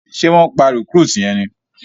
Ṣe wón pá recruit yén ní?